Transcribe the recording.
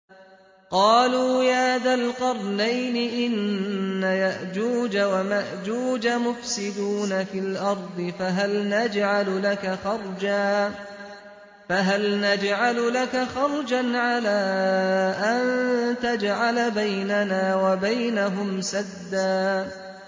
قَالُوا يَا ذَا الْقَرْنَيْنِ إِنَّ يَأْجُوجَ وَمَأْجُوجَ مُفْسِدُونَ فِي الْأَرْضِ فَهَلْ نَجْعَلُ لَكَ خَرْجًا عَلَىٰ أَن تَجْعَلَ بَيْنَنَا وَبَيْنَهُمْ سَدًّا